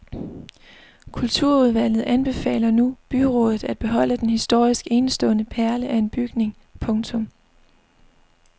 Kulturudvalget anbefaler nu byrådet at beholde den historisk enestående perle af en bygning. punktum